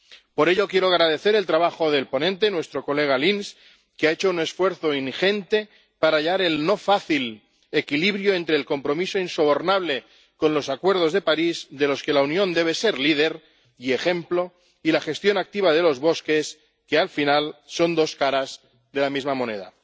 Por ello, quiero agradecer el trabajo del ponente, nuestro colega Lins, que ha hecho un esfuerzo ingente para hallar el no fácil equilibrio entre el compromiso insobornable con los Acuerdos de París —de los que la Unión debe ser líder y ejemplo— y la gestión activa de los bosques, que, al final, son dos caras de la misma moneda.